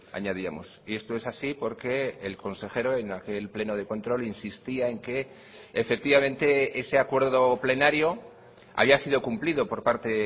añadíamos y esto es así porque el consejero en aquel pleno de control insistía en que efectivamente ese acuerdo plenario había sido cumplido por parte